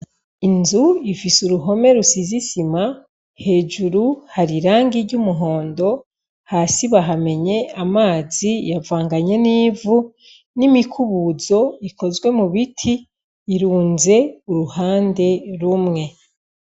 Inzu ifise uruhome rusize isima, hejuru hari irangi ry'umuhondo. Hasi bahamenye amazi, yavanganye n'ivu n'imikubuzo ikozwe mu biti irunze uruhande rumwe.